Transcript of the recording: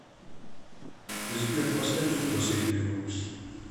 сбер поставь звук на среднюю громкость